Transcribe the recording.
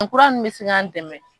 O kura nunnu bɛ se kan dɛmɛ.